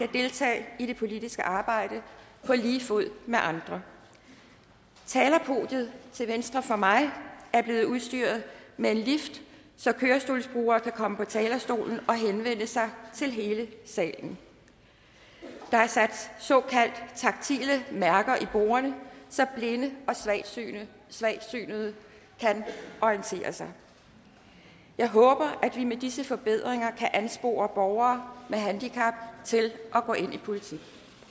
deltage i det politiske arbejde på lige fod med andre talerpodiet til venstre for mig er blevet udstyret med en lift så kørestolsbrugere kan komme på talerstolen og henvende sig til hele salen der er sat såkaldt taktile mærker i bordene så blinde og svagtseende kan orientere sig jeg håber at vi med disse forbedringer kan anspore borgere med handicap til at gå ind i politik